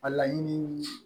A laɲini